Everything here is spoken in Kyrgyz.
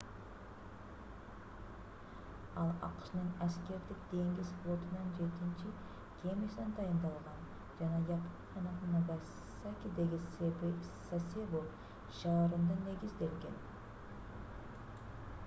ал акшнын аскердик деңиз флотунун жетинчи кемесине дайындалган жана япониянын нагасакидеги сасебо шаарында негизделген